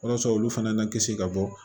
Walasa olu fana na kisi ka bɔ